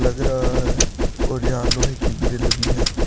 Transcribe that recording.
लग रहा है और यहां लोहे की ग्रिल भी है।